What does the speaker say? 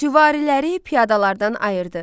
Süvariləri piyadalardan ayırdı.